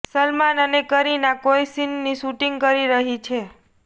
સલમાન અને કરીના કોઇ સીનની શૂટીંગ કરી રહી છે